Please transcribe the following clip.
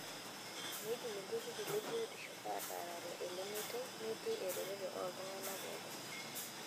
Meidim olturrur le biotisho ataarare ele meitai metii eretoto ooltung'ana pookin.